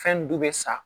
Fɛn du be sa